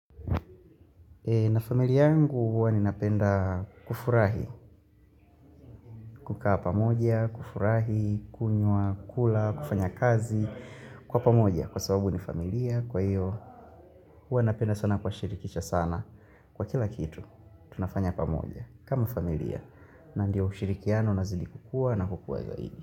Na familia yangu huwa ninapenda kufurahi, kukaa pamoja, kufurahi, kunywa, kula, kufanya kazi, kwa pamoja kwa sababu ni familia, kwa iyo, huwa napenda sana kuwashirikisha sana, kwa kila kitu, tunafanya pamoja, kama familia, na ndio ushirikiano na zilipokukua na kukua zaidi.